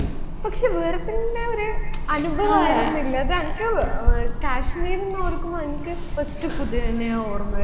പക്ഷേ വേറെ തന്നെ ഒരു അനുഭവമായിരുന്നില്ലേ അത് അൻക്ക് ഏർ കാശ്മീരെന്ന് ഓർക്കുമ്പോ അൻക്ക് first കുതിരനയെ ഓർമ്മവരുന്ന്